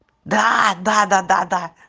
да-да-да